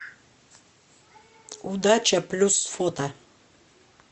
удача плюс фото